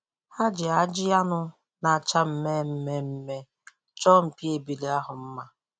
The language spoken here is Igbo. Ha ji ajị anụ na-acha mme mme mme chọọ mpi ebule ahụ mma.